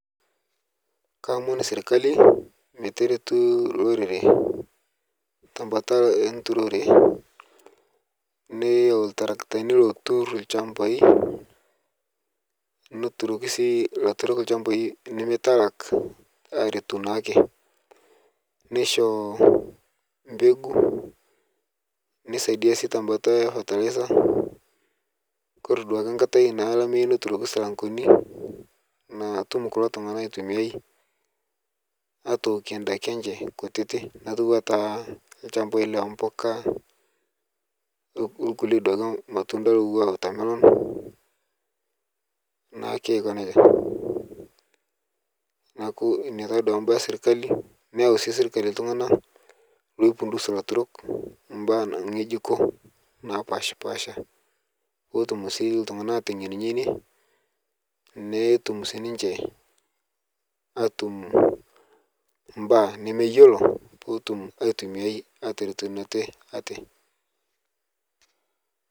Kaomoon sirikali mee teretuu lorere te mbaata enturore. Neyauu ltaarakitani lootur lchambai neeturoki sii ltaturok lchambai nemee talaak aretuu naake. Neishoo mbeguu neisaidia sii te mbaata e fertilizer. Kore duake nkaatai nalaamie notuuroki silaang'oni natuum kuloo ltung'ana aitumiai aitookie ndaaki enchee nkutiti naitua taa lchambai le mbukaa okulee duake matundai owua watermelon naa keikoo nejaa. Naaku nia taa duake baaya e sirikali neiyau sii sirikali ltung'ana loifundus laturok baya nkeejuko napaspasha poo otuum sii ltung'ana aiteng'en ng'enie. Netuum sii ninchee atuum baya nemee iyeloo poo otuum aitumia atereteen ate ate.